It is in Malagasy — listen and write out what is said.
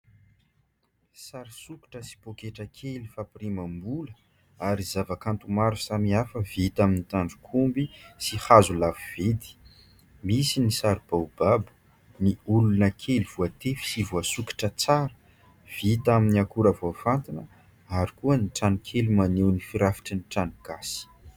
Sary sikotra sy poaketra kely fapirimam-bola ary zava-kanto maro samihafa vita amin'ny tandro-komby sy hazo lafo vidy. Misy ny sary baobab, ny olona kely voatefy sy voasikotra tsara. Vita amin'ny akora vaofantina ary koa ny trano kely maneho ny firafitry ny trano gasy.